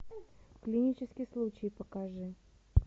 клинический случай покажи